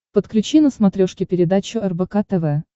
подключи на смотрешке передачу рбк тв